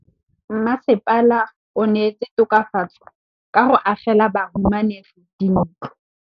Mmasepala o neetse tokafatsô ka go agela bahumanegi dintlo.